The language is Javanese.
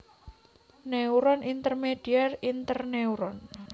Neuron Intermedier Interneuron